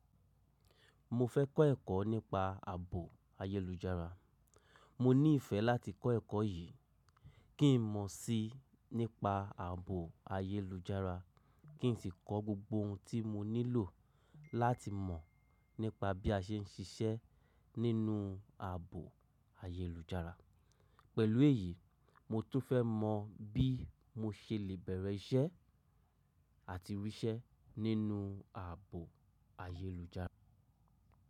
Mo fẹ́ kọ́ ẹ̀kọ́ nípa ààbò ayélujára. Mo ní ìfẹ́ láti kọ́ ẹ̀kọ́ yìí kí n mọ̀ sí nípa ààbò ayélujára, kí n sì kọ́ gbogbo ohun tí mo nílò láti mọ̀ nípa bí a ṣe ń ṣiṣẹ́ nínú ààbò ayélujára. Pẹ̀lú èyí, mo tún fẹ́ mọ bí mo ṣe lè bẹ̀rẹ̀ iṣẹ́ àti ríṣẹ́ nínú ààbò ayélujára.